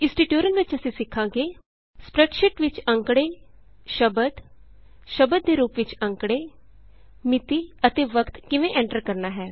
ਇਸ ਟਿਯੂਟੋਰਿਅਲ ਵਿਚ ਅਸੀਂ ਸਿਖਾਂਗੇ ਸਪਰੈੱਡਸ਼ੀਟ ਵਿਚ ਅੰਕੜੇ ਸ਼ਬਦ ਸ਼ਬਦ ਦੇ ਰੂਪ ਵਿਚ ਅੰਕੜੇ ਮਿਤੀ ਅਤੇ ਵਕਤ ਕਿਵੇਂ ਐਂਟਰ ਕਰਨਾ ਹੈ